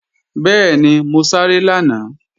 Bẹ́ẹ̀ni, mo sáré lánàá